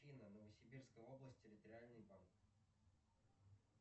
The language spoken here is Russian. афина новосибирская область территориальный банк